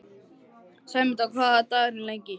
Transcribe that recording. Sæmunda, hvaða dagur er í dag?